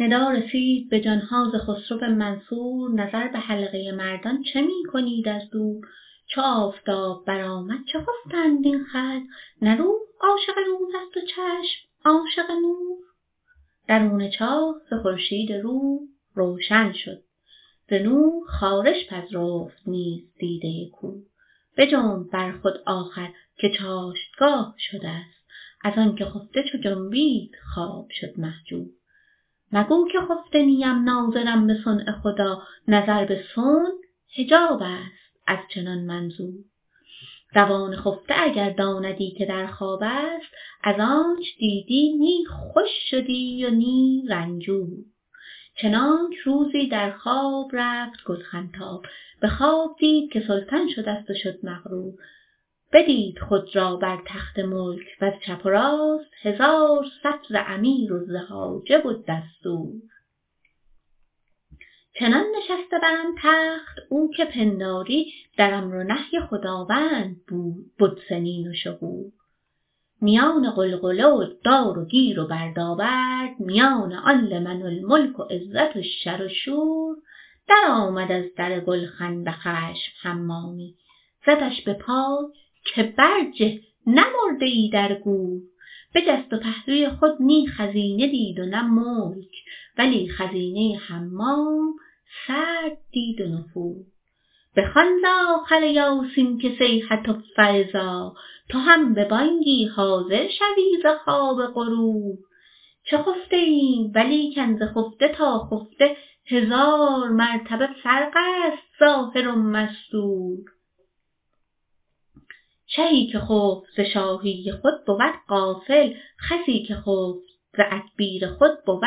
ندا رسید به جان ها ز خسرو منصور نظر به حلقه مردان چه می کنید از دور چو آفتاب برآمد چه خفته اند این خلق نه روح عاشق روزست و چشم عاشق نور درون چاه ز خورشید روح روشن شد ز نور خارش پذرفت نیز دیده کور بجنب بر خود آخر که چاشتگاه شدست از آنک خفته چو جنبید خواب شد مهجور مگو که خفته نیم ناظرم به صنع خدا نظر به صنع حجابست از چنان منظور روان خفته اگر داندی که در خوابست از آنچ دیدی نی خوش شدی و نی رنجور چنانک روزی در خواب رفت گلخن تاب به خواب دید که سلطان شدست و شد مغرور بدید خود را بر تخت ملک وز چپ و راست هزار صف ز امیر و ز حاجب و دستور چنان نشسته بر آن تخت او که پنداری در امر و نهی خداوند بد سنین و شهور میان غلغله و دار و گیر و بردابرد میان آن لمن الملک و عزت و شر و شور درآمد از در گلخن به خشم حمامی زدش به پای که برجه نه مرده ای در گور بجست و پهلوی خود نی خزینه دید و نه ملک ولی خزینه حمام سرد دید و نفور بخوان ز آخر یاسین که صیحه فاذا تو هم به بانگی حاضر شوی ز خواب غرور چه خفته ایم ولیکن ز خفته تا خفته هزار مرتبه فرقست ظاهر و مستور شهی که خفت ز شاهی خود بود غافل خسی که خفت ز ادبیر خود بود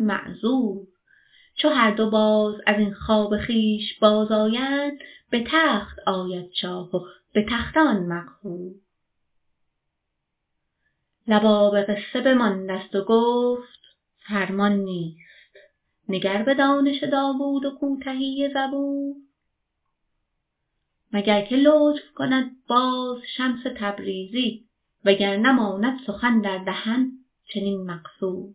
معذور چو هر دو باز از این خواب خویش بازآیند به تخت آید شاه و به تخته آن مقهور لباب قصه بماندست و گفت فرمان نیست نگر به دانش داوود و کوتهی زبور مگر که لطف کند باز شمس تبریزی وگر نه ماند سخن در دهن چنین مقصور